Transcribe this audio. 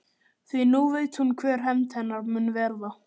Því nú veit hún hver hefnd hennar mun verða.